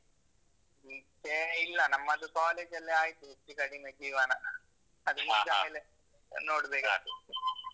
ಈಚೆ ಇಲ್ಲ. ನಮ್ಮದು college ಅಲ್ಲೇ ಆಯ್ತು ಹೆಚ್ಚು ಕಡಿಮೆ ಜೀವನ ನೋಡ್ಬೇಕಾಗತ್ತೆ.